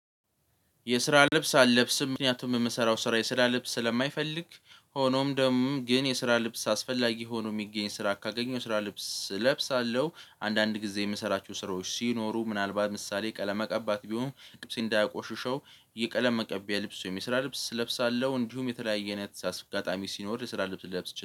የስራ ልብስ አለብስም ምክንያቱም የምሰራው ስራ የስራ ልብስ ስለማይፈልግ ሆኖም ደግሞ ግን የስራ ልብስ አስፈላጊ ሆኖ የሚገኝ ስራ ካገኘው የስራ ልብስ እለብሳለሁ። አንዳንድ ጊዜ የምሰራቸው ስራዎች ሲኖሩ ምናልባት ምሳሌ ቀለም መቀባት ቢሆን ልብሴን እንዳያቆሽሸው የቀለም መቀቢያ ልብስ የስራ ልብስ እለብሳለሁ እንዲሁም የተለያየ አይነት አስጋጣሚ ሲኖር የስራ ልብስ ልለብስ